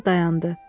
Cəfər dayandı.